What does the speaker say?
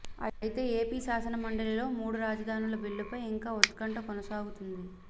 అయితే ఏపీ శాసనమండలిలో మూడు రాజధానుల బిల్లుపై ఇంకా ఉత్కంఠ కొనసాగుతుంది